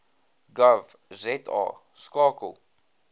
gov za skakel